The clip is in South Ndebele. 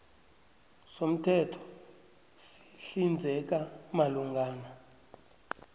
somthetho sihlinzeka malungana